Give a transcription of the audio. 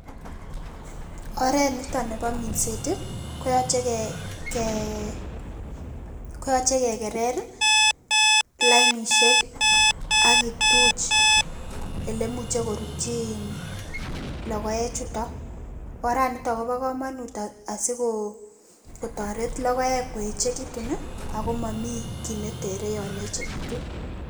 Oretniton nebo minset koyoche ke kee koyoche kekerer lainisiek ak kituch elemuche korutyi in logoechuton orani niton kobo komonut asiko kotoret logoek koechekitun i ako momi kit netere yon echegekitu.